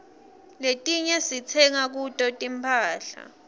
letiinye sitsenga kuto tinphahla